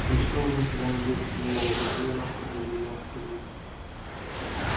ничто уже никогда не будет ей мило доживи она хоть до девяноста лет